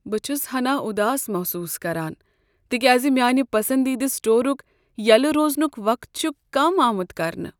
بہٕ چھس ہناہ اُداس محسوس کران تکیازِ میانِہ پسندیدٕ سٹورک یلہٕ روزنک وقت چھ کم آمت کرنہٕ۔